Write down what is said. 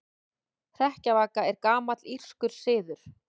Hrekkjavaka er gamall írskur siður.